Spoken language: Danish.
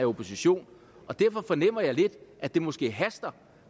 opposition og derfor fornemmer jeg lidt at det måske haster